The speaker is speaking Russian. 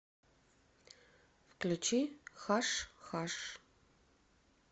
включи хаш хаш